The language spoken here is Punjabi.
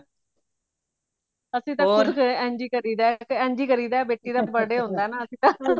ਅਸੀਂ ਤਾ ਫਿਰ ਇੰਜ ਹੀ ਕਰੀਦਾ ਇੰਜ ਹੀ ਕਰੀਦਾ ਬੇਟੀ ਦਾ birthday ਹੋਂਦਾ ਨਾ